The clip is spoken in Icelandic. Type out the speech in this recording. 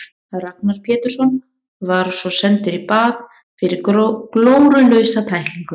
Ragnar Pétursson var svo sendur í bað fyrir glórulausa tæklingu.